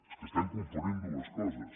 és que estem confonent dues coses